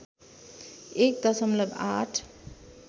१ दशमलव ८